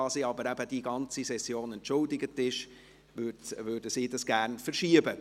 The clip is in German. Da sie aber für die ganze Session entschuldigt ist, würden sie dieses Geschäft gerne verschieben.